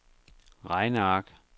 regneark